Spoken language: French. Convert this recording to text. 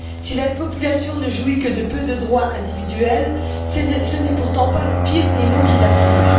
Si la population ne jouit que de peu de droits individuels, ce n'est pourtant pas le pire des maux qui l'afflige.